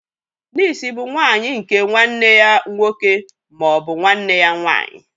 Nịịsi bụ nwà nwanyị nke nwanne ya nwoke ma ọ bụ nwanne ya nwanyị.